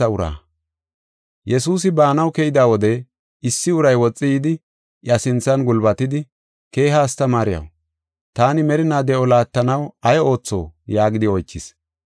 Yesuusi baanaw keyda wode, issi uray woxi yidi, iya sinthan gulbatidi, “Keeha astamaariyaw, taani merinaa de7o laattanaw ay ootho?” yaagidi oychis.